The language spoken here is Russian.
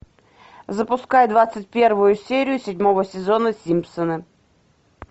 запускай двадцать первую серию седьмого сезона симпсоны